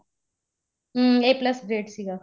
hmm a plus ਗਰਦੇ ਸੀਗਾ